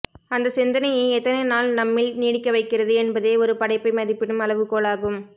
அந்த சிந்தனையை எத்தனைநாள் நம்மில் நீடிக்கவைக்கிறது என்பதே ஒரு படைப்பை மதிப்பிடும் அளவுகோலாகும்